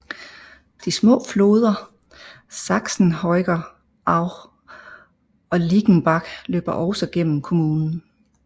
De små floder Sachsenhäger Aue og Ziegenbach løber også gennem kommunen